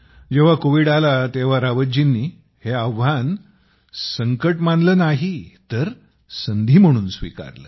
जेव्हा कोविड आला तेव्हा रावतजींनी हे आव्हान संकट मानले नाही तर संधी म्हणून स्वीकारले